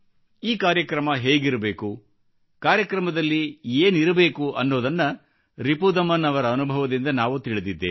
ಈ ಕಾರ್ಯಕ್ರಮ ಹೇಗಿರಬೇಕು ಕಾರ್ಯಕ್ರಮದಲ್ಲಿ ಏನಿರಬೇಕು ಎಂಬುದನ್ನು ರಿಪುದಮನ್ ಅವರ ಅನುಭವದಿಂದ ನಾವು ತಿಳಿದಿದ್ದೇವೆ